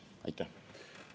Aitäh!